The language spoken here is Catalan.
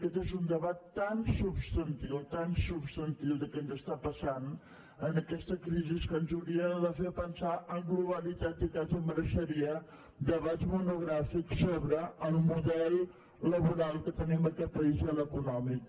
aquest és un debat tan substantiu tan substantiu de què ens està passant en aquesta crisi que ens hauria de fer pensar en globalitat i quasi mereixeria debats monogràfics sobre el model laboral que tenim a aquest país i l’econòmic